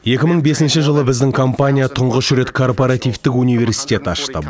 екі мың бесінші жылы біздің компания тұңғыш рет корпоративтік университет ашты